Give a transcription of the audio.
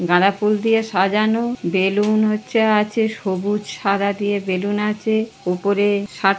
গাঁদা ফুল দিয়ে সাজানো বেলুন হচ্ছে আছে সবুজ সাদা দিয়ে বেলুন আছে উপরে--